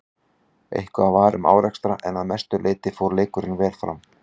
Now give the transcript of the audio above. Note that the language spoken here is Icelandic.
Eitthvað var um árekstra en að mestu leiti fór leikurinn vel fram.